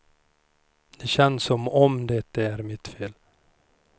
Det känns som om det är mitt fel.